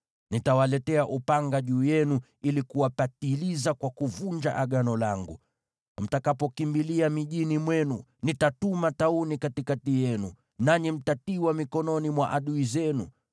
Nitawaletea upanga juu yenu ili kuwapatiliza kwa kuvunja Agano langu. Mtakapokimbilia mijini mwenu, nitatuma tauni katikati yenu, nanyi mtatiwa mikononi mwa adui zenu.